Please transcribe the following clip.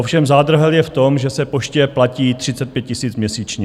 Ovšem zádrhel je v tom, že se poště platí 35 000 měsíčně.